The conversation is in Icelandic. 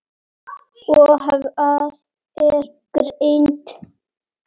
og Hvað er greind?